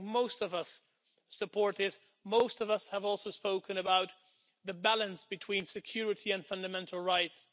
I think most of us support this, most of us have also spoken about the balance between security and fundamental rights.